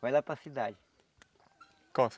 Vai lá para cidade. Qual